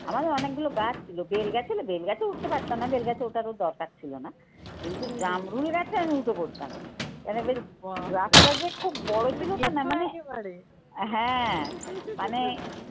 আমাদের অনেকগুলো গাছ ছিল, বেলগাছে হলো বেলগাছে উঠতে পারতাম না, বেলগাছে ওঠারও দরকার ছিল না কিন্তু জামরুল আছে আমি উঠে পড়তাম কারণ এবার রাস্তা যে খুব বড় ছিল না হ্যাঁ মানে